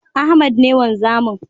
Ahmed ne wanzamin